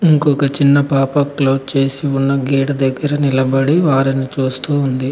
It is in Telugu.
ఇంకొక చిన్న పాప క్లోజ్ చేసి ఉన్న గేటు దగ్గర నిలబడి వారిని చూస్తూ ఉంది.